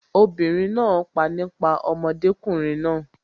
obìnrin náà pa nípa ọmọdékùnrin náà